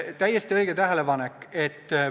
Täiesti õige tähelepanek!